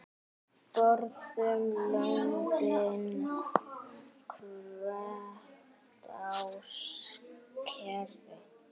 Borðum lömbin, hvekkt á skeri.